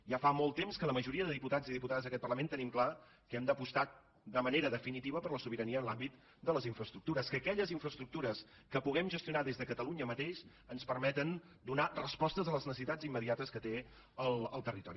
ja fa molt temps que la majoria de diputats i diputades d’aquest parlament tenim clar que hem d’apostar de manera definitiva per la sobirania en l’àmbit de les infraestructures que aquelles infraestructures que puguem gestionar des de catalunya mateix ens permeten donar respostes a les necessitats immediates que té el territori